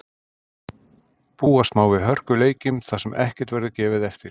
Búast má við hörkuleikjum þar sem ekkert verður gefið eftir.